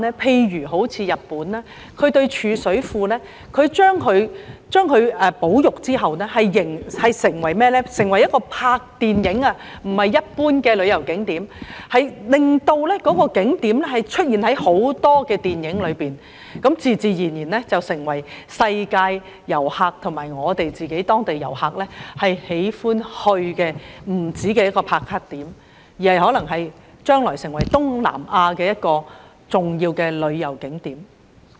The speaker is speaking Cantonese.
他們對貯水庫進行保育後，不會把它變為一般旅遊景點，而是把它變為拍攝電影的場地，令該景點出現在很多電影中，那便自然成為世界各地遊客及當地市民喜歡前往的"打卡"點，將來更可能成為東南亞重要的旅遊景點。